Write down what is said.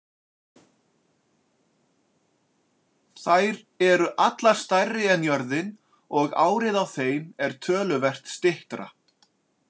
Þær eru allar stærri en jörðin og árið á þeim er töluvert styttra.